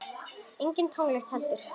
Engin tónlist heldur.